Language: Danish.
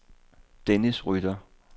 Dennis Rytter